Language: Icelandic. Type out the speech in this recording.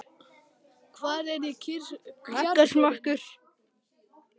Hvar er kjarkurinn?